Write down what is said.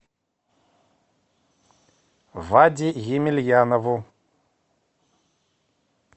ваде емельянову